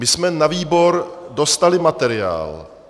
My jsme na výbor dostali materiál.